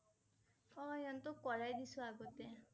অ' সিহঁতক কৰাই দিছোঁ আগতে ।